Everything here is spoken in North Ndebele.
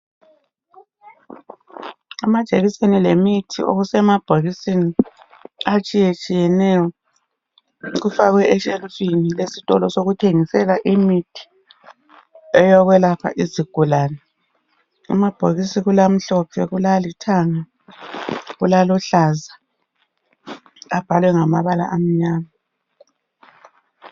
amajekiseni lemithi okusema bhokiseni kufakwe eshelufini essitolo sokuthengisa imithi eyokwelapha izigulane amabhokisi kulamhlophe kulali thanga kulaluhlaza abhalwe ngamabala amnyama